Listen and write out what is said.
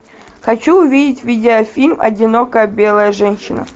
хочу увидеть видео фильм одинокая белая женщина